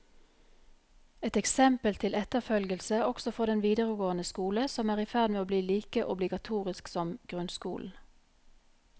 Et eksempel til etterfølgelse også for den videregående skole, som er i ferd med å bli like obligatorisk som grunnskolen.